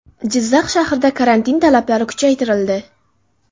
Jizzax shahrida karantin talablari kuchaytirildi.